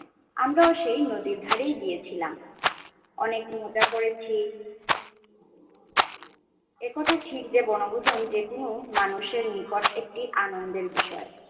আমরা সেই নদীর ধরে গিয়েছিলাম অনেক মজা করেছি এই কথা ঠিক যে বনভূজন যে কোন মানুষে নিকট একটি আনন্দের বিষয়